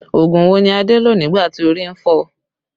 Ogun wo ni Adé lò nígbà tí orí ń fọ́ ọ?